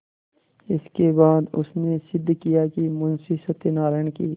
इसके बाद उसने सिद्ध किया कि मुंशी सत्यनारायण की